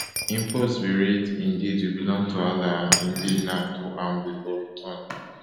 im post bin read indeed we belong to allah and indeed to am we go return